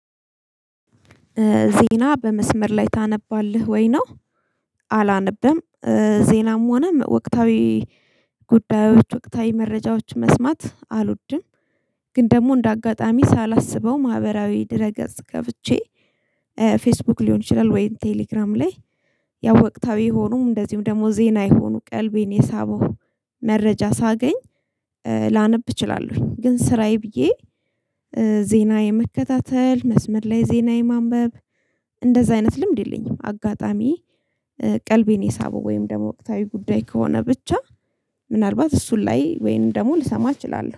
ዜና በመስመር ላይ ታነባለህ ወይ ነው? አላነበም ዜናም ሆነ ወቅታዊ ጉዳዮች ወቅታዊ መረጃዎች መስማት አልወድም። ግን ደግሞ እንደ አጋጣሚ ሳላስበው ማህበራዊ ድረ ገጽ ገብቼ ፌስቡክ ሊሆን ይችላል። ወይም ቴሌግራም ላይ ያው ወቅታዊ የሆኑም እንደዚሁም ደግሞ ዜና የሆኑ ቀልቤን የሳበው መረጃ ሳገኝ ላነብ እችላለሁ። ግን ስራዬ ብዬ ዜና የመከታተል መስመር ላይ ዜና የማንበብ እንደዛ አይነት ልምድ የለኝም። አጋጣሚ ቀልቤን የሳበው ወይም ደሞ ወቅታዊ ጉዳይ ከሆነ ብቻ ምናልባት እሱን ላይ ወይም ደግሞ ልሰማ እችላለሁ